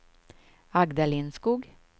Agda Lindskog